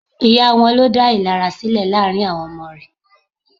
Ìyá wọn ló dá ìlara sílẹ̀ láàrín àwọn ọmọ rẹ̀.